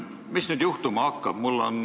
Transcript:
Mis nüüd juhtuma hakkab?